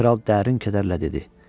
Kral dərin kədərlə dedi: